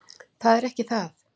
Það er ekki það.